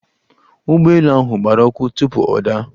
Ụgbọ elu ahụ gbara ọkụ tupu ọ daa.